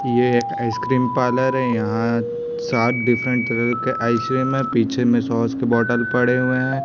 ये एक ice cream parlour है यहाँ सात डिफरेंट कलर के आइसक्रीम है पीछे में सॉस के बॉटल पड़े हुए है।